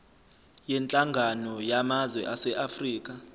yenhlangano yamazwe aseafrika